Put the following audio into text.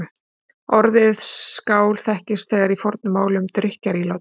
Orðið skál þekkist þegar í fornu máli um drykkjarílát.